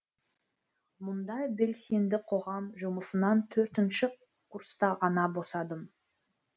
мұндай белсенді қоғам жұмысынан төртінші курста ғана босадым